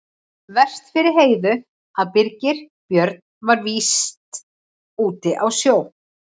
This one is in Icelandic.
Verst fyrir Heiðu að Birgir Björn var víst úti á sjó.